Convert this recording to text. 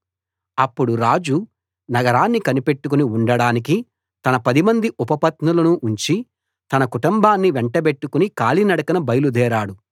అప్పుడు రాజు నగరాన్ని కనిపెట్టుకుని ఉండడానికి తన పదిమంది ఉపపత్నులను ఉంచి తన కుటుంబాన్ని వెంటబెట్టుకుని కాలినడకన బయలుదేరాడు